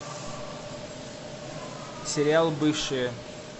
сериал бывшие